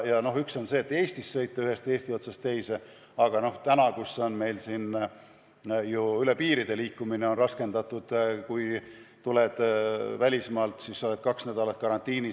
Üks asi on see, et Eestis pole vaja sõita ühest riigi otsast teise, aga meil on ju praegu üle piiri liikumine raskendatud ja kui tuled välismaalt, siis oled kaks nädalat karantiinis.